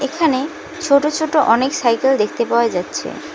এখানে ছোট ছোট অনেক সাইকেল দেখতে পাওয়া যাচ্ছে।